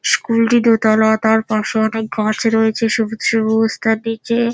school -টি দোতালা তার তার পাশে অনেক গাছ রয়েছে সবুজ সবুজ তার নিচে--